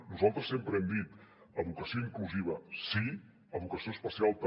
nosaltres sempre hem dit educació inclusiva sí educació especial també